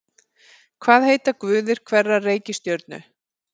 Hvað heita guðir hverrar reikistjörnu?